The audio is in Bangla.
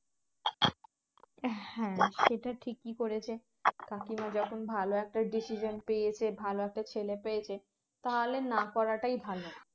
হ্যাঁ সেটা ঠিকই করেছে কাকিমা যখন ভালো একটা decision পেয়েছে ভালো একটা ছেলে পেয়েছে তাহলে না করাটাই ভালো